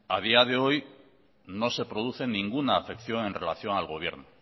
a día de hoy no se produce ninguna afección en relación al gobierno